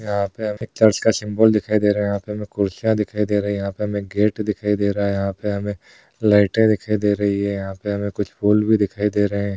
यहा पे हमे चर्च का सिम्बल दिखाई दे रहा है। यहा पे हमे कुरसियां दिखाई दे रही है। यहा पे हमे गेट दिखाई दे रहा है यहा पे हमे लाइटे दिखाई दे रही है। यहा पे हमे कुछ फूल भी दिखाई दे रहे हैं।